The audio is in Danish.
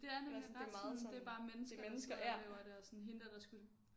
Det er nemlig ret sådan det er bare mennesker der sidder og laver det og sådan hende dér der skulle